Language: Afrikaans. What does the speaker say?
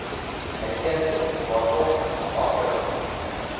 uiteensit waarvolgens langtermyn